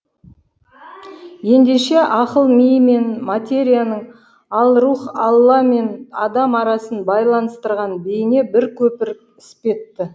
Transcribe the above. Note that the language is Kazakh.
ендеше ақыл ми мен материяның ал рух алла мен адам арасын байланыстырған бейне бір көпір іспетті